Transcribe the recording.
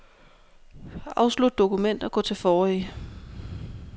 Afslut dokument og gå til forrige.